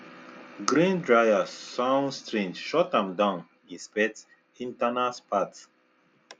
grain dryer sound strange shut am down inspect internal parts